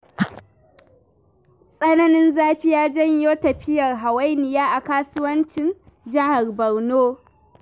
Tsananin zafi ya janyo tafiyar hawainiya a kasuwancin jihar Borno.